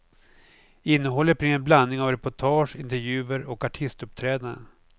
Innehållet blir en blandning av reportage, intervjuer och artistuppträdanden.